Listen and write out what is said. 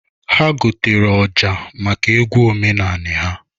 Ha gotara ọja maka egwu omenanị ha.